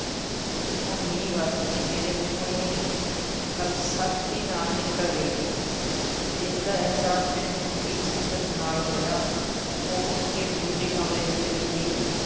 ਹੁਣ ਮੀਂਹ ਵਸਦੈ, ਮੇਰੇ ਮੂੰਹੋਂ ਇਹ ਗੱਲ ਸਖ਼ਤੀ ਨਾਲ਼ ਨਿਕਲ਼ ਗਈ, ਇਸ ਦਾ ਅਹਿਸਾਸ ਮੈਨੂੰ ਵੀ ਸ਼ਿੱਦਤ ਨਾਲ਼ ਹੋਇਆ, ਉਹ ਉੱਠ ਕੇ ਦੂਜੇ ਕਮਰੇ 'ਚ ਚਲੀ ਗਈ।